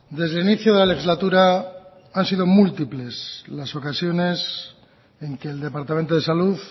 desde el inicio de la legislatura han sido múltiples las ocasiones en que el departamento de salud